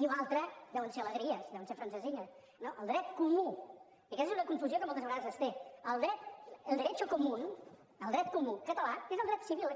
i la resta deuen ser alegries deuen ser francesilles no el dret comú i aquesta és una confusió que moltes vegades es té el derecho común el dret comú català és el dret civil aquest